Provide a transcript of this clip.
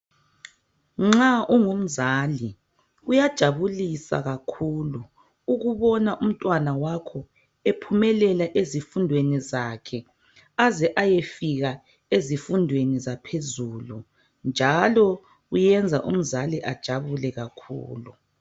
Nxa ungumzali kuyajabulisa kakhulu ukubona umntanakho ephumelela ezifundweni zakhe aze ayefika ezifundweni zaphezulu njalo kwenza umzali ajabule kakhulu.